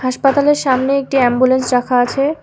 হাসপাতালের সামনে একটি এম্বুলেন্স রাখা আছে।